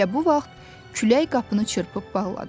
Elə bu vaxt külək qapını çırpıb bağladı.